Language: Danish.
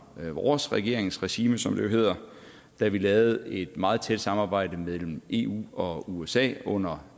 vores regeringsregime som det jo hedder da vi lavede et meget tæt samarbejde mellem eu og usa under